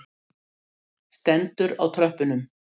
Stendur á tröppunum.